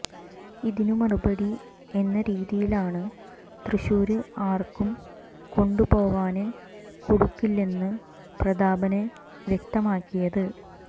ഇതിന് മറുപടി എന്ന രീതിയിലാണ് തൃശൂര് ആര്ക്കും കൊണ്ടുപോവാന് കൊടുക്കില്ലെന്ന് പ്രതാപന് വ്യക്തമാക്കിയത്